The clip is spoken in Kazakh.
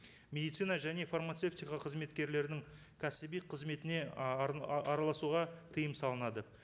медицина және фармацевтика қызметкерлерінің кәсіби қызметіне араласуға тыйым салынады